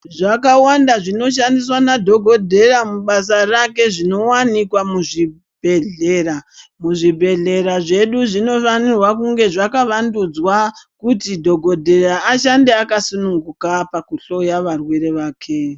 Zvakawanda zvinoshandiswa madhokodheya mubasa rake zvinowanikwa muzvibhedhlera. Zvibhedhlera zvedu zvinofana kunge zvakavandudzwa kuti dhokodheya ashande akasununguka pakuhloya varwere vake.